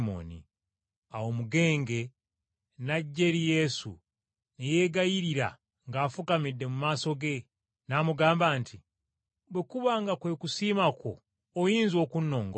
Awo omugenge n’ajja eri Yesu ne yeegayirira ng’afukamidde mu maaso ge, n’amugamba nti, “Bwe kuba nga kwe kusiima kwo, oyinza okunnongoosa.”